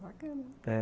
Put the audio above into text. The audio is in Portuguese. Bacana, é.